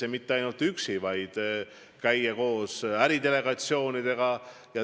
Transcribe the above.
Ja käia seal mitte üksi, vaid koos äridelegatsioonidega.